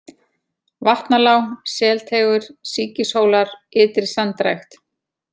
Vatnalág, Selteigur, Sýkishólar, Ytri-Sandrækt